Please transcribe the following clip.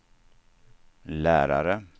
lärare